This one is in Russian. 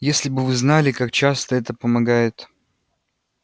если бы вы знали как часто это помогает